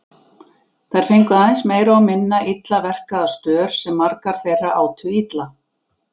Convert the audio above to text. Þær fengu aðeins meira og minna illa verkaða stör sem margar þeirra átu illa.